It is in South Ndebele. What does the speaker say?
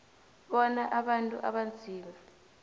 bona abantu abanzima